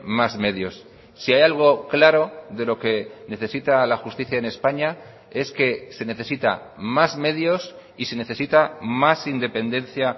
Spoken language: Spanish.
más medios si hay algo claro de lo que necesita la justicia en españa es que se necesita más medios y se necesita más independencia